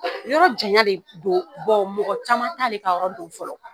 Yɔrɔ janya de don mɔgɔ caman t'ale de ka yɔrɔ dɔn fɔlɔ